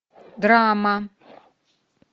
драма